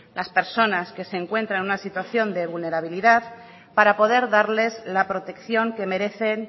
las personas que se encuentran en una situación de vulnerabilidad para poder darles la protección que merecen